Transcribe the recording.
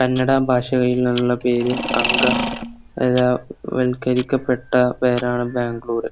കന്നഡ ഭാഷയിൽ ഉള്ള പേര് അങ്ക അഹ് വൽക്കരിക്കപ്പെട്ട പേരാണ് ബാംഗ്ലൂര്